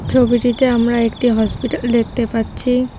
ছবিটিতে আমরা একটি হসপিটাল দেখতে পাচ্ছি।